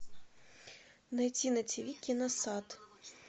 найти на тв киносад